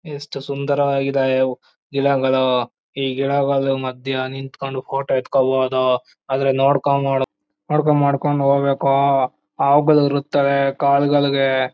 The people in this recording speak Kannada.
ಎಷ್ಟು ಸುಂದರವಾಗಿದ್ದಾವೆ ಗಿಡಗಳು ಈ ಗಿಡಗಳ ಮಧ್ಯ ನಿತ್ಕೊಂಡು ಫೋಟೋ ಎತ್ತಿಕೋಬಹುದು ಆದರೆ ನೋಡಿಕೊಂಡು ನೋಡ್ಕೊಂಡ್ ಮಾಡ್ಕೊಂಡ್ ಹೋಗಬೇಕು. ಹಾವುಗಳು ಇರುತ್ತವೆ ಕಾಲುಗಳಿಗೆ--